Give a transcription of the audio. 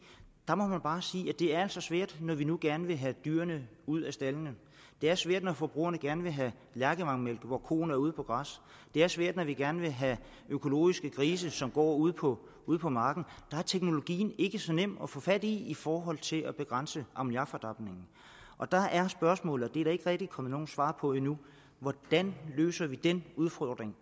der må man bare sige at det altså er svært når vi nu gerne vil have dyrene ud af staldene det er svært når forbrugerne gerne vil have lærkevangmælk hvor koen kommer ud på græs det er svært når vi gerne vil have økologiske grise som går ude på ude på marken der er teknologien ikke så nem at få fat i i forhold til at begrænse ammoniakfordampningen og der er spørgsmålet og det er der ikke rigtig kommet nogen svar på endnu hvordan løser vi også den udfordring